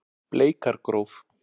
Bleikargróf